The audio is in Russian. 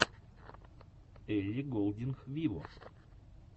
элли голдинг виво